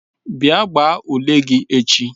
bia gbaa ule gi echi